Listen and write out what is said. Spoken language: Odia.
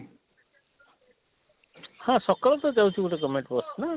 ହଁ ସକାଳୁ ତ ଯାଉଛି ଗୋଟେ govement ବସ ନାଁ,